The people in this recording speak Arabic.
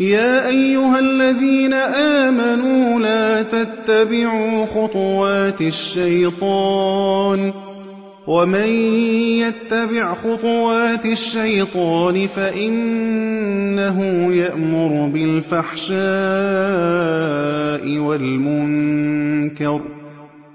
۞ يَا أَيُّهَا الَّذِينَ آمَنُوا لَا تَتَّبِعُوا خُطُوَاتِ الشَّيْطَانِ ۚ وَمَن يَتَّبِعْ خُطُوَاتِ الشَّيْطَانِ فَإِنَّهُ يَأْمُرُ بِالْفَحْشَاءِ وَالْمُنكَرِ ۚ